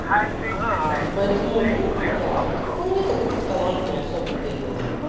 поэтому ну вот как по мне так это талант не особо-то и нужен